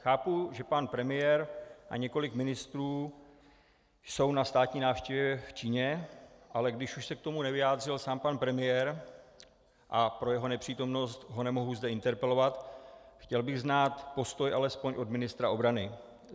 Chápu, že pan premiér a několik ministrů jsou na státní návštěvě v Číně, ale když už se k tomu nevyjádřil sám pan premiér a pro jeho nepřítomnost ho nemohu zde interpelovat, chtěl bych znát postoj alespoň od ministra obrany.